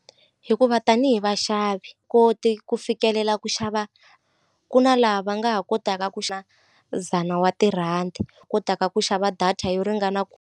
Hikuva tanihi vaxavi koti ku fikelela ku xava ku na laha va nga ha kotaka ku dzana wa tirhandi kotaka ku xava data yo ringana .